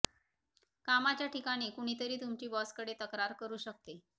कामाच्या ठिकाणी कुणीतरी तुमची बॉसकडे तक्रार करू शकते